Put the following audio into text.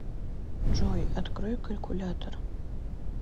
джой открой калькулятор